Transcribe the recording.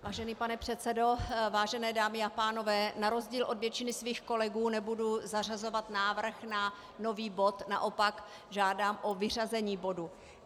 Vážený pane předsedo, vážené dámy a pánové, na rozdíl od většiny svých kolegů nebudu zařazovat návrh na nový bod, naopak žádám o vyřazení bodu.